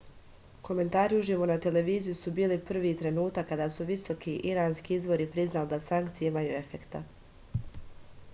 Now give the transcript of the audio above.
komentari uživo na televiziji su bili prvi trenutak kad su visoki iranski izvori priznali da sankcije imaju efekta